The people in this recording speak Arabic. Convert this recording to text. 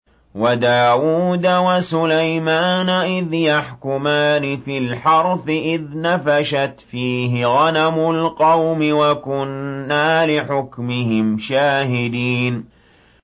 وَدَاوُودَ وَسُلَيْمَانَ إِذْ يَحْكُمَانِ فِي الْحَرْثِ إِذْ نَفَشَتْ فِيهِ غَنَمُ الْقَوْمِ وَكُنَّا لِحُكْمِهِمْ شَاهِدِينَ